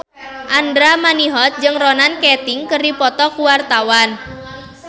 Andra Manihot jeung Ronan Keating keur dipoto ku wartawan